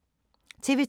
TV 2